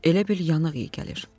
Elə bil yanıq iyi gəlir.